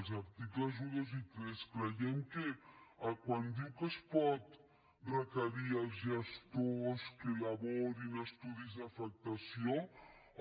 els articles un dos i tres creiem que quan diu que es pot requerir als gestors que elaborin estudis d’afectació